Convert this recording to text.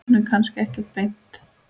Hún er kannski ekki beint.